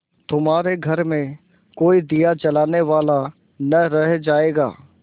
तुम्हारे घर में कोई दिया जलाने वाला न रह जायगा